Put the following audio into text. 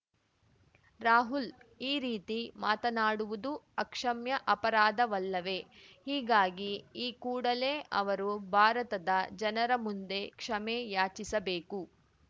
ರಾಹುಲ್‌ ಈ ರೀತಿ ಮಾತನಾಡುವುದು ಅಕ್ಷಮ್ಯ ಅಪರಾಧವಲ್ಲವೇ ಹೀಗಾಗಿ ಈ ಕೂಡಲೇ ಅವರು ಭಾರತದ ಜನರ ಮುಂದೆ ಕ್ಷಮೆ ಯಾಚಿಸಬೇಕು